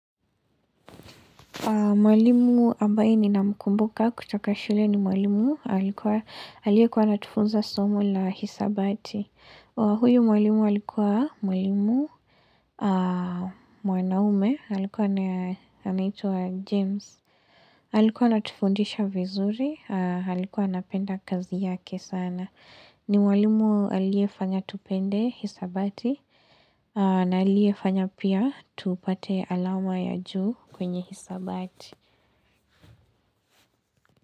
Mwalimu ambaye ni na mkumbuka kutaka shule ni mwalimu alikuwa alikuwa natufunza somu la hisabati. Mwalimu ambaye ni na mkumbuka kutaka shule ni mwalimu alikuwa alikuwa natufunza somu la hisabati. Huyo mwalimu alikuwa mwalimu mwanaume alikuwa naituwa James. Alikuwa natufundisha vizuri, alikuwa napenda kazi yake sana. Ni mwalimu aliefanya tupende hisabati.